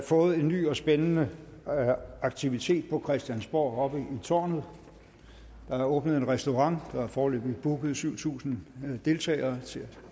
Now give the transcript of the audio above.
fået en ny og spændende aktivitet på christiansborg oppe i tårnet der er åbnet en restaurant og der er foreløbig booket syv tusind deltagere til